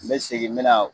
N bɛ segin n bɛ na